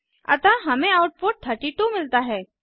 अतः हमें आउटपुट 32 मिलता है